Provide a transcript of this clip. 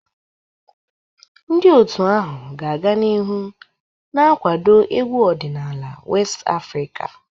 Ndị otu ahụ ga-aga n'ihu na-akwado egwu ọdịnala West Afrika.